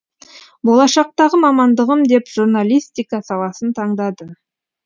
болашақтағы мамандығым деп журналистика саласын таңдады